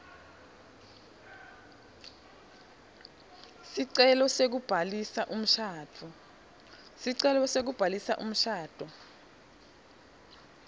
sicelo sekubhalisa umshado